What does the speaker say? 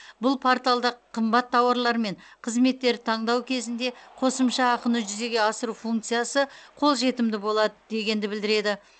бұл порталда қымбат тауарлар мен қызметтерді таңдау кезінде қосымша ақыны жүзеге асыру функциясы қолжетімді болады дегенді білдіреді